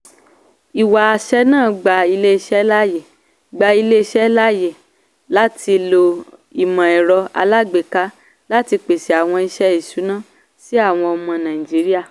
ìwé-àṣẹ náà gba ilé-iṣẹ́ láàyè gba ilé-iṣẹ́ láàyè láti ló ìmọ̀-ẹ̀rọ alágbèéka láti pèsè àwọn iṣẹ́ ìṣùná sí àwọn ọmọ nàìjíríà.